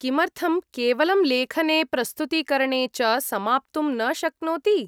किमर्थं केवलं लेखने, प्रस्तुतीकरणे च समाप्तुं न शक्नोति?